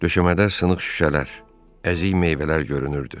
Döşəmədə sınıq şüşələr, əzik meyvələr görünürdü.